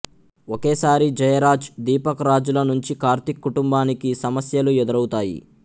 ఒకేసారి జయరాజ్ దీపక్ రాజ్ ల నుంచి కార్తీక్ కుటుంబానికి సమస్యలు ఎదురవుతాయి